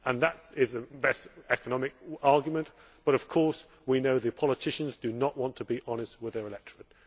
That is the best economic argument but, of course, we know that politicians do not want to be honest with their electorate.